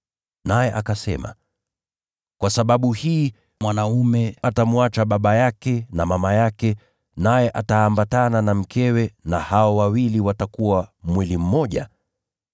naye akasema, ‘Kwa sababu hii mwanaume atamwacha baba yake na mama yake, naye ataambatana na mkewe, na hao wawili watakuwa mwili mmoja’?